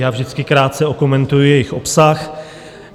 Já vždycky krátce okomentuji jejich obsah.